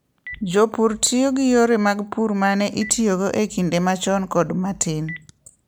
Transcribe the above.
Jopur tiyo gi yore mag pur ma ne itiyogo e kinde machon kod ma tin.